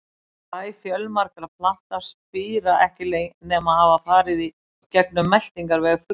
Fræ fjölmargra plantna spíra ekki nema hafa farið í gegnum meltingarveg fugla.